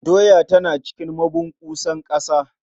Doya tana cikin mabunƙusa ƙasa.